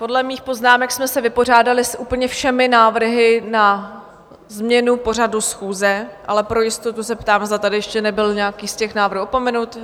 Podle mých poznámek jsme se vypořádali s úplně všemi návrhy na změnu pořadu schůze, ale pro jistotu se ptám, zda tady ještě nebyl nějaký z těch návrhů opomenut?